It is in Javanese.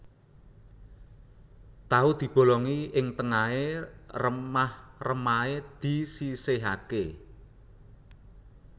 Tahu dibolongi ing tengahé remah remahé disisihaké